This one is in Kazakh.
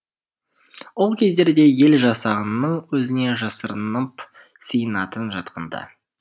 ол кездерде ел жасағанның өзіне жасырынып сиынатын жатқанда